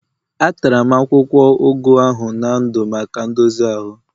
Atara m akwụkwọ ugu ahụ na ndụ maka ndozi ahụ